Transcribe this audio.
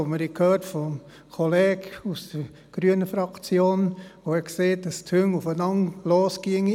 Der Kollege aus der grünen Fraktion hat vorhin von zwei Hunden gesprochen, die aufeinander losgehen.